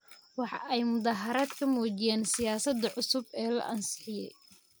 Waxa ay mudaaharaad ka muujiyeen siyaasadda cusub ee la ansixiyay.